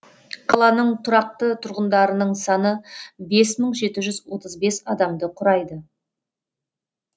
қаланың тұрақты тұрғындарының саны бес мың жеті жүз отыз бес адамды құрайды